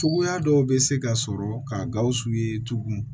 Cogoya dɔw bɛ se ka sɔrɔ ka gawusu ye tugun